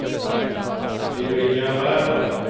billigare